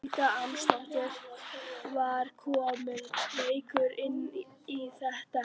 Helga Arnardóttir: Var kominn reykur inn í þetta herbergi?